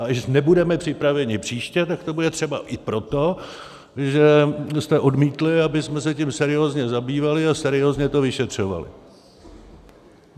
A když nebudeme připraveni příště, tak to bude třeba i proto, že jste odmítli, abychom se tím seriózně zabývali a seriózně to vyšetřovali.